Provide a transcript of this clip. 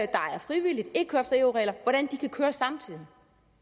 der er frivilligt ikke kører efter eu regler kan køre samtidig